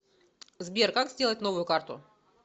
сбер как сделать новую карту